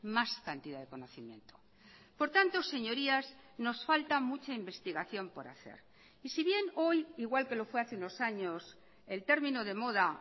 más cantidad de conocimiento por tanto señorías nos falta mucha investigación por hacer y si bien hoy igual que lo fue hace unos años el término de moda